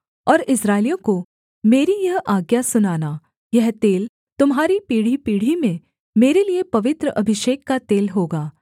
और इस्राएलियों को मेरी यह आज्ञा सुनाना यह तेल तुम्हारी पीढ़ीपीढ़ी में मेरे लिये पवित्र अभिषेक का तेल होगा